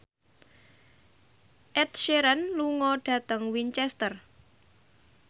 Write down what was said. Ed Sheeran lunga dhateng Winchester